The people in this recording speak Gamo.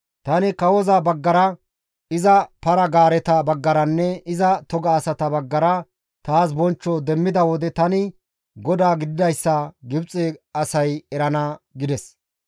Tani kawoza baggara iza para-gaareta baggaranne iza toga asata baggara taas bonchcho demmida wode tani GODAA gididayssa Gibxe asay erana» gides.